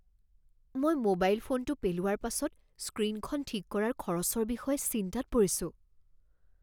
মই মোবাইল ফোনটো পেলোৱাৰ পাছত স্ক্ৰীণখন ঠিক কৰাৰ খৰচৰ বিষয়ে চিন্তাত পৰিছোঁ।